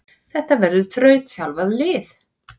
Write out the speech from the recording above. Þetta verður þrautþjálfað lið.